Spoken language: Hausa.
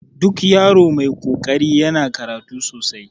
Duk yaro mai kokari yana karatu sosai